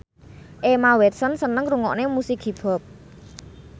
Emma Watson seneng ngrungokne musik hip hop